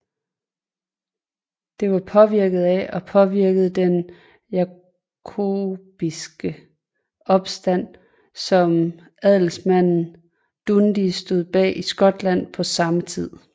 Den var påvirket af og påvirkede den jakobinske opstand som Adelsmanden Dundee stod bag i Skotland på samme tid